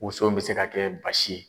Muso bɛ se ka kɛ basi ye.